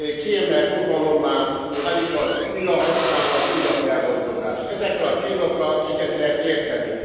Kiemelt fogalommá válik az újrahasználat, újrafeldolgozás ezekkel a célokkal egyet lehet érteni.